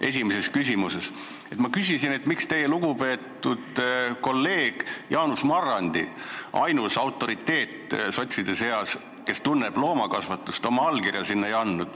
Esimeses küsimuses ma küsisin, miks teie lugupeetud kolleeg Jaanus Marrandi, ainus autoriteet sotside seas, kes tunneb loomakasvatust, oma allkirja eelnõule ei andnud.